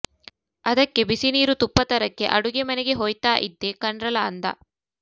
ಅದಕ್ಕೆ ಬಿಸಿನೀರು ತುಪ್ಪ ತರಕ್ಕೆ ಅಡುಗೆ ಮನೆಗೆ ಹೋಯ್ತಾ ಇದ್ದೆ ಕನ್ರಲಾ ಅಂದ